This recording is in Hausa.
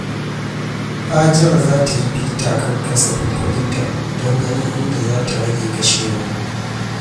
Hajara za ta yi bita kan kasafin kuɗinta don ganin inda za ta rage kashewa.